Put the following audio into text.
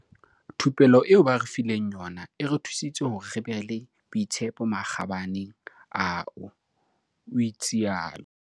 Thupello eo ba re fileng yona e re thusitse hore re be le boitshepo makgabaneng ao," o itsalo.